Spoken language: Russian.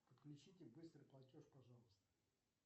подключите быстрый платеж пожалуйста